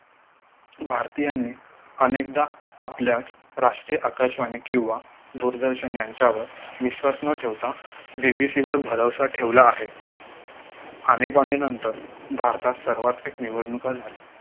भारतीयांनी अनेकदा आपल्याच राष्ट्रीय आकाशवाणी किंवा दूरदर्शन यांच्यावर विश्वास न ठेवता BBC वर भरवसा ठेवला आहे आणीबाणीनंतर भारतात सर्वात fake निवडणुका झाल्या